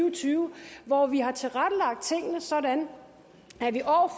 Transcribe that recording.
og tyve hvor vi har tilrettelagt tingene sådan